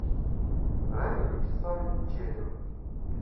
равиль вячеславович челин